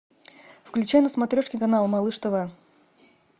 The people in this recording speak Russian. включай на смотрешке канал малыш тв